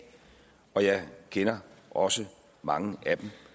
og jeg kender også mange af dem